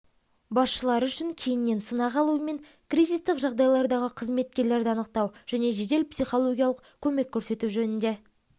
басшылары үшін кейіннен сынақ алумен кризистік жағдайлардағы қызметкерлерді анықтау және жедел психологиялық көмек көрсету жөнінде